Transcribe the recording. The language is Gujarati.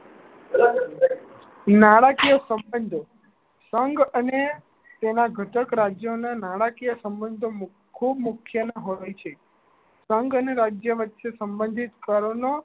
નાણાકીય સંબંધો સંગ અને તેના ઘટક રાજ્યો ના નાણાકીય સંબંધો ખૂબ મુખ્ય ના હોય છે સંગ અને રાજ્ય વચ્ચે સંબંધિત કરો નો